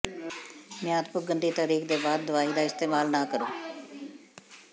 ਮਿਆਦ ਪੁੱਗਣ ਦੀ ਤਾਰੀਖ ਦੇ ਬਾਅਦ ਦਵਾਈ ਦਾ ਇਸਤੇਮਾਲ ਨਾ ਕਰੋ